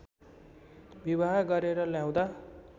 विवाह गरेर ल्याउँदा